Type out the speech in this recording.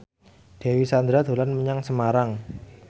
Dewi Sandra dolan menyang Semarang